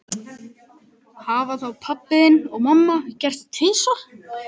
Hafa þá pabbi þinn og mamma gert það tvisvar?